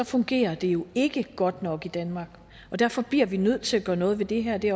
fungerer det jo ikke godt nok i danmark og derfor bliver vi nødt til at gøre noget ved det her og det